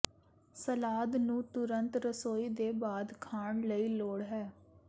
salad ਨੂੰ ਤੁਰੰਤ ਰਸੋਈ ਦੇ ਬਾਅਦ ਖਾਣ ਲਈ ਲੋੜ ਹੈ